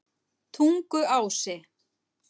Tunguási